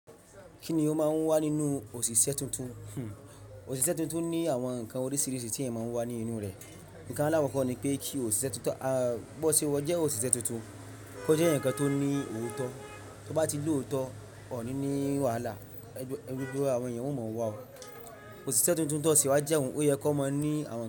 Kí ni ó máa ń wà nínú òṣìṣẹ́ tuntun? Òṣìṣẹ́ tuntun ní àwọn nǹkan oríṣiríṣi tí ẹ̀ ń máa ń wà ní inú rè. Ǹkan alakoko ni pé kí òṣìṣẹ́ tuntun bó ṣe ó jẹ́ òṣìṣẹ́ tuntun, kó jẹ́ eyan kan tó ní òótọ́, tó bá ti lóòótọ́, ọ̀ ní ní wàhálà, gbogbo àwọn èèyàn ò mọ̀ wá o. Òṣìṣẹ́ tuntun tó ṣe wá jẹ́ òun ó yẹ kó máa ní àwọn.